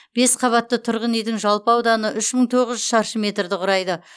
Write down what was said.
бес қабатты тұрғын үйдің жалпы ауданы үш мың тоғыз жүз шаршы метрді құрайды